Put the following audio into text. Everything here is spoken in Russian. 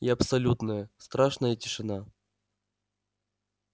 и абсолютная страшная тишина